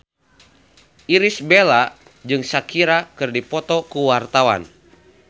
Irish Bella jeung Shakira keur dipoto ku wartawan